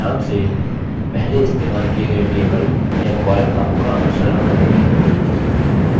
names ध्यान से पहले इस्तेमाल किये गये table या column नामों का अनुसरण करेंगे